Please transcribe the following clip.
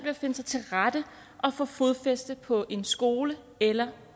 at finde sig til rette og få fodfæste på en skole eller